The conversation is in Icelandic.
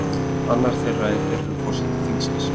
Annar þeirra er fyrrum forseti þingsins